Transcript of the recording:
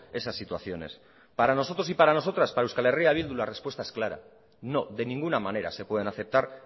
esas situaciones para nosotros y para nosotras para euskal herria bildu la respuesta es clara no de ninguna manera se pueden aceptar